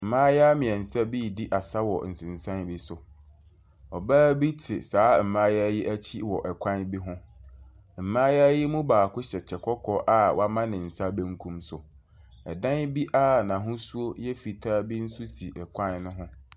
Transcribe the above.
Mmayewa mmeɛnsa bi redi asa wɔ nsensan bi so. Ɔbaa bi te saa mmayewa yi akyi wɔ kwan bi ho. Mmayewa yi mu baako hyɛ kyɛ kɔkɔɔ a wama ne nsa benkum so. Dan bi a n'ahosuo yɛ fitaa bi nso si kwan no ho.